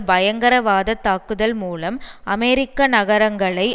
பயங்கரவாத தாக்குதல் மூலம் அமெரிக்க நகரங்களை